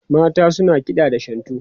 mata suna kiɗa da shantu